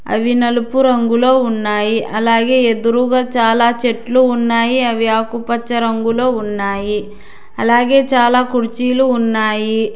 అవి నలుపు రంగులో ఉన్నాయి అలాగే ఎదురుగా చాలా చెట్లు ఉన్నాయి అవి ఆకుపచ్చ రంగులో ఉన్నాయి అలాగే చాలా కుర్చీలు ఉన్నాయి.